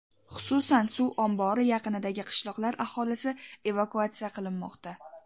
Xususan, suv ombori yaqinidagi qishloqlar aholisi evakuatsiya qilinmoqda .